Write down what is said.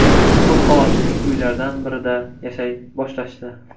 Ko‘p qavatli uylardan birida yashay boshlashdi.